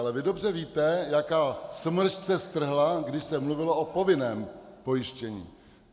Ale vy dobře víte, jaká smršť se strhla, když se mluvilo o povinném pojištění.